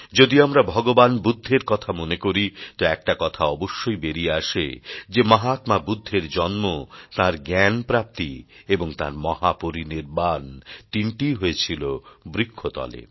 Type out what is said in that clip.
যদি আমরা ভগবান বুদ্ধের কথা মনে করি তো একটা কথা অবশ্যই বেরিয়ে আসে যে মহাত্মা বুদ্ধের জন্ম তাঁর জ্ঞান প্রাপ্তি এবং তাঁর মহাপরিনির্বাণ তিনটিই হয়েছিল বৃক্ষতলে